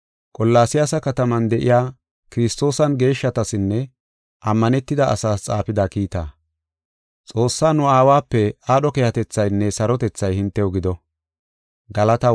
Qolaasiyasa kataman de7iya Kiristoosan geeshshatasinne ammanetida asaas xaafida kiitaa. Xoossaa nu Aawape aadho keehatethaynne sarotethay hintew gido.